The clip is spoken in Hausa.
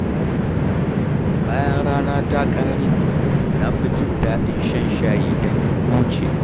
Bayan rana ta ƙare, na fi jin daɗin shan shayi don in huce.